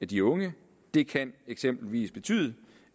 de unge det kan eksempelvis betyde